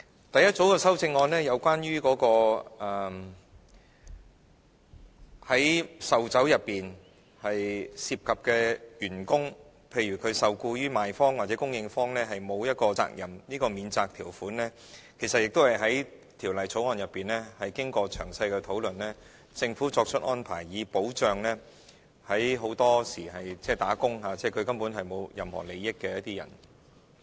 第一組修正案是關於在售酒過程中涉及送遞酒類的員工，譬如他既非受僱於賣方，亦非受僱於供應方，免除其責任，這項免責條款其實也在審議《條例草案》時經過詳細討論，政府作出安排，以保障很多時候根本沒有涉及任何利益的打工階層及人士。